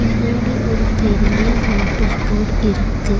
முன்னாடி ஒரு பெரிய நோட்டீஸ் போர்டு இருக்கு.